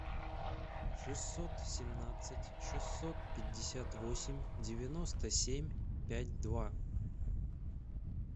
шестьсот семнадцать шестьсот пятьдесят восемь девяносто семь пять два